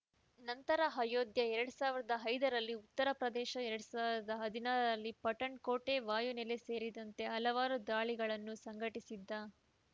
ನಂತರ ಅಯೋಧ್ಯೆ ಎರಡ್ ಸಾವಿರದ ಐದರಲ್ಲಿ ಉತ್ತರಪ್ರದೇಶ ಎರಡ್ ಸಾವಿರದ ಹದಿನಾರರಲ್ಲಿ ಪಠಾಣ್‌ಕೋಟ್‌ ವಾಯುನೆಲೆ ಸೇರಿದಂತೆ ಹಲವಾರು ದಾಳಿಗಳನ್ನು ಸಂಘಟಿಸಿದ್ದ